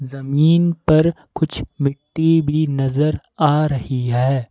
जमीन पर कुछ मिट्टी भी नजर आ रही है।